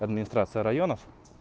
администрация районов